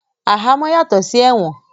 Ahamọ́ yàtọ̀ sí ẹ̀wọ̀n